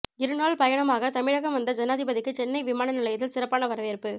இருநாள் பயணமாக தமிழகம் வந்த ஜனாதிபதிக்கு சென்னை விமான நிலையத்தில் சிறப்பான வரவேற்பு